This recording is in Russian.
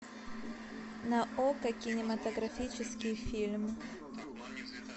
на окко кинематографический фильм